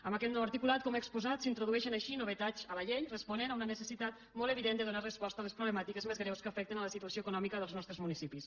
amb aquest nou articulat com he exposat s’introdueixen així novetats a la llei responent a una necessitat molt evident de donar resposta a les problemàtiques més greus que afecten la situació econòmica dels nostres municipis